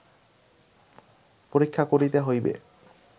পরীক্ষা করিতে হইবে